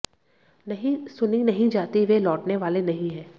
नहीं सुनी नहीं जाती वे लौटने वाले नहीं है